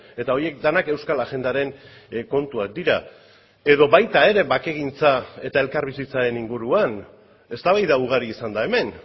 eta horiek denak euskal agendaren kontuak dira edo baita ere bakegintza eta elkarbizitzaren inguruan eztabaida ugari izan da hemen